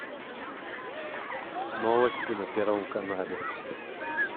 новости на первом канале